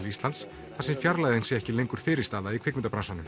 Íslands þar sem fjarlægðin sé ekki lengur fyrirstaða í